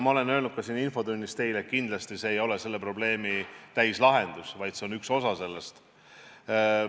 Ma olen öelnud ka siin infotunnis teile, et kindlasti ei ole see selle probleemi täislahendus, vaid see on üks osa sellest.